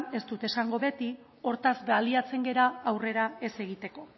ez dut esango beti hortaz baliatzen gara aurrera ez egiteko